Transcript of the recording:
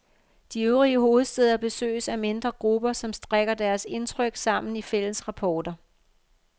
De øvrige hovedstæder besøges af mindre grupper, som strikker deres indtryk sammen i fælles rapporter.